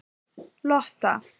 Lotta